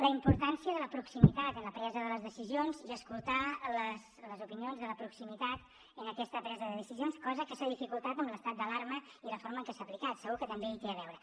la importància de la proximitat en la presa de les decisions i escoltar les opinions de la proximitat en aquesta presa de decisions cosa que s’ha dificultat amb l’estat d’alarma i la forma en què s’ha aplicat segur que també hi té a veure